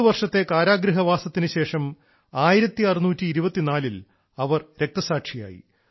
പത്തുവർഷത്തെ കാരാഗൃഹവാസത്തിനുശേഷം 1624 ൽ അവർ രക്തസാക്ഷിയായി